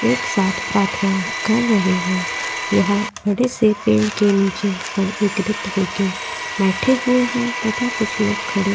एक साथ प्रार्थना कर रहे हैं। यहाँ बड़े से पेड़ के नीचे सब एकरित होके बैठे हुए हैं तथा कुछ लोग खड़े --